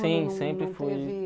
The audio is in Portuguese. Sim, sempre fui.